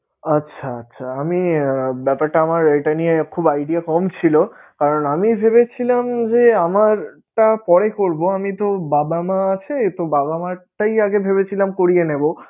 আচ্ছা আচ্ছা আমি~ ব্যাপারটা আমার এটা নিয়ে খুব idea কম ছিলোকারণ আমি ভেবেছিমান যে, আমারটা পরে করবোআমি তো বাবা মা আছে, তো বাবা মারটাই আগে ভেবেছিলাম করিয়ে নেবো